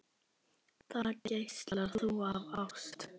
Þar geislar þú af ást.